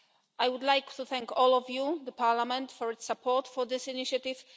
I would like to thank all of you, the Parliament, for the support for this initiative.